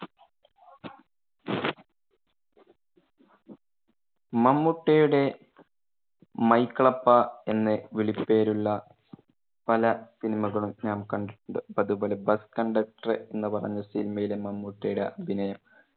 മമ്മൂട്ടിയുടെ മൈക്കിളപ്പ എന്ന് വിളി പേരുള്ള പല സിനിമകളും നാം കണ്ടിട്ടുണ്ട്. അത്പോലെ bus-conductor എന്ന് പറഞ്ഞ സിനിമയിലെ മമ്മൂട്ടിയുടെ അഭിനയം